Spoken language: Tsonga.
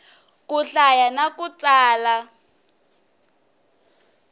ku hlaya na ku tsala